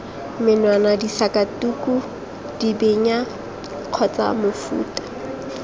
menwana disakatuku dibenya kgotsa mofuta